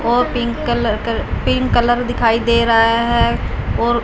और pink colour कर pink colour दिखाई दे रहा है और--